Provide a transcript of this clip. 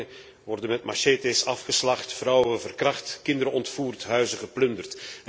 Dorpelingen worden met machetes afgeslacht, vrouwen verkracht, kinderen ontvoerd, huizen geplunderd.